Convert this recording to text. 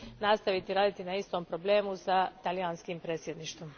nastaviti raditi na istom problemu sa talijanskim predsjedništvom.